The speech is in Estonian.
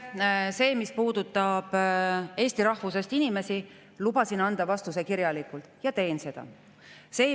Selle kohta, mis puudutab eesti rahvusest inimesi, lubasin anda vastuse kirjalikult ja teen seda.